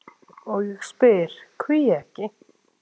og ég spyr: hví ekki?